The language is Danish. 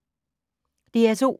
DR2